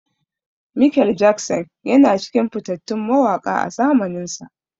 Mikel Jackson yana cikin fitattun mawaƙa a zamaninsa.